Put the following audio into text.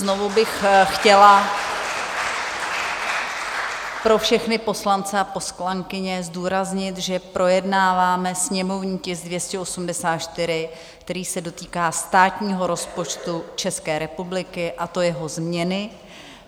Znovu bych chtěla pro všechny poslance a poslankyně zdůraznit, že projednáváme sněmovní tisk 284, který se dotýká státního rozpočtu České republiky, a to jeho změny.